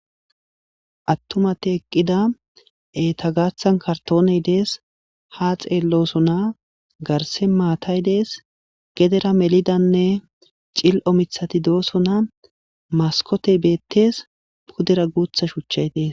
attumati eqqida eta gaaththan kartooney dees ha xeellosona garse maatay dees gedera melidanne cil7o mithati doosona maskotey beettees pudera guutha shuchchaytees